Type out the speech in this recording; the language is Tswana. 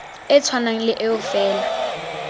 e tshwanang le eo fela